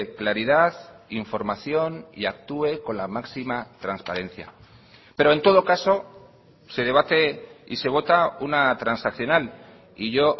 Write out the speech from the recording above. claridad información y actúe con la máxima transparencia pero en todo caso se debate y se vota una transaccional y yo